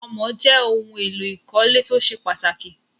Àmọ̀ jẹ́ ohun-èlò ìkọ́lé tó ṣe pàtàkì.